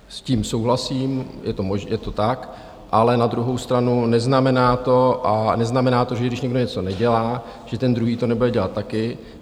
S tím souhlasím, je to tak, ale na druhou stranu, neznamená to, že když někdo něco nedělá, že ten druhý to nebude dělat taky.